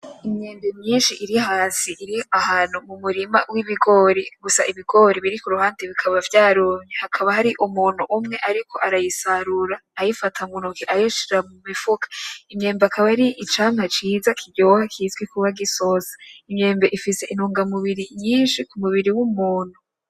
Imyembe myinshi iri hasi iri ahantu mu murima w'ibigori ibigori biri kuruhande bikaba vyarumye hakaba hari umuntu umwe ariko arayisarura ayifata mu ntoke ayishira mu mifuka imyembe akaba ari icamwa ciza kiryoha kizwi kuba gisosa imyembe ifise intunga mubiri nyinshi kumubiri w'umuntu.